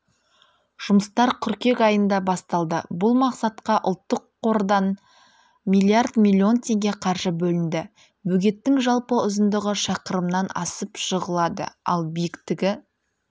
жұмыстар қыркүйек айында басталды бұл мақсатқа ұлттық қордан миллиард миллион теңге қаржы бөлінді бөгеттің жалпы ұзындығы шақырымнан асып жығылады ал биіктігі